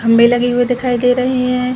घंबे लगे हुए दिखाई दे रही है।